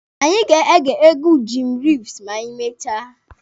Anyị ga-ege egwu Jim Reeves ma anyị mechaa.